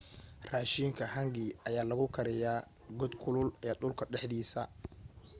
raashinka hangi ayaa lagu kariyaa god kulul ee dhulka dhexdiisa